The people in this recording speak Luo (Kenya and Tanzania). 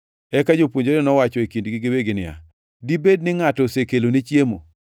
Eka jopuonjrene nowacho e kindgi giwegi niya, “Dibed ni ngʼato osekelone chiemo?”